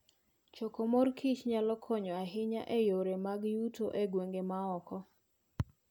Choko mor kich nyalo konyo ahinya e yore mag yuto e gwenge ma oko.